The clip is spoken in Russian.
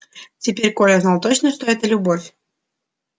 теперь коля знал точно что это любовь